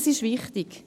Dies ist wichtig.